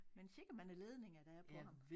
Men sikke mange ledninger der er på ham